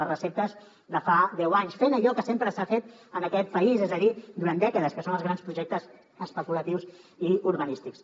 les receptes de fa deu anys fent allò que sempre s’ha fet en aquest país és a dir durant dècades que són els grans projectes especulatius i urbanístics